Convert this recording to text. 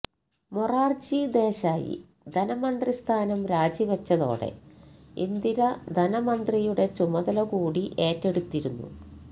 മൊറാർജി ദേശായി ധനമന്ത്രിസ്ഥാനം രാജിവെച്ചതോടെ ഇന്ദിര ധനമന്ത്രിയുടെ ചുമതല കൂടി ഏറ്റെടുത്തിരുന്നു